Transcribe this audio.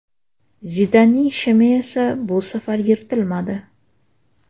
Zidanning shimi esa bu safar yirtilmadi.